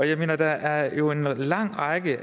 jeg mener der er jo en lang række